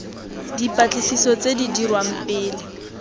dipatlisiso tse di dirwang pele